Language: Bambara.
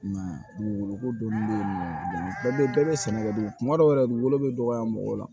I m'a ye dugukolo ko dɔnni bɛ nɔgɔya dɔn bɛɛ bɛ sɛnɛ kɛ kuma dɔw la dugukolo bɛ dɔgɔya mɔgɔw la